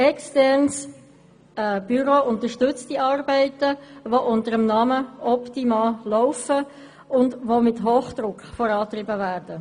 Ein externes Büro unterstützt diese Arbeiten, welche unter dem Namen «Optima» laufen und mit Hochdruck vorangetrieben werden.